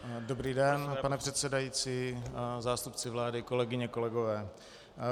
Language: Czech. Dobrý den, pane předsedající, zástupci vlády, kolegyně, kolegové.